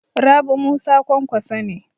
Rabi Musa Kwankwaso ne.